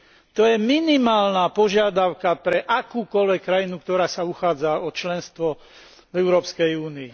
To je minimálna požiadavka pre akúkoľvek krajinu, ktorá sa uchádza o členstvo v Európskej únii.